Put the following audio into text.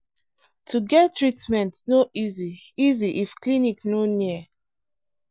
to get treatment no easy easy if clinic no near.